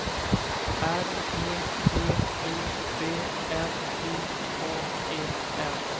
R E P U B L I K E N